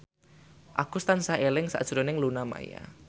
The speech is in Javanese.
Agus tansah eling sakjroning Luna Maya